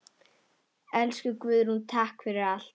Elsku Guðrún, takk fyrir allt.